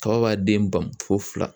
Kaba b'a den ban fo fila